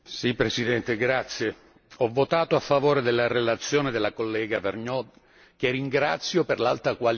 Ho votato a favore della relazione della collega Vergnaud che ringrazio per l'alta qualità del lavoro svolto.